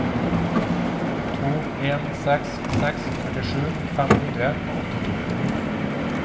to en seks seks førtisju fem hundre og åttito